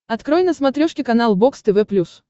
открой на смотрешке канал бокс тв плюс